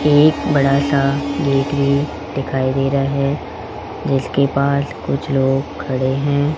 एक बड़ा सा गेट भी दिखाई दे रहा है जिसके पास कुछ लोग खड़े हैं।